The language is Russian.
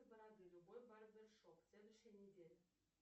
бороды любой барбершоп следующая неделя